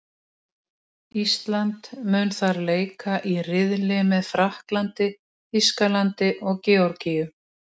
Ísland mun þar leika í riðli með Frakklandi, Þýskalandi og Georgíu.